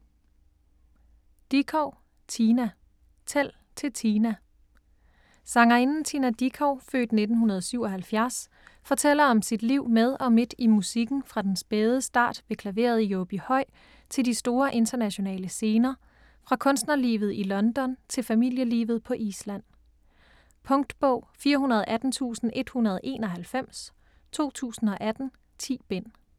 Dickow, Tina: Tæl til Tina Sangerinden Tina Dickow (f. 1977) fortæller om sit liv med og midt i musikken fra den spæde start ved klaveret i Åbyhøj til de store internationale scener, fra kunstnerlivet i London til familielivet på Island. Punktbog 418191 2018. 10 bind.